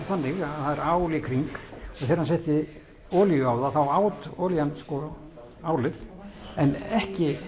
þannig að það er ál í kring og þegar hann setti olíu á það þá át olían álið en ekki